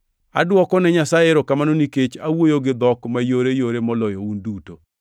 Adwokone Nyasaye erokamano nikech awuoyo gi dhok mayoreyore moloyo un duto,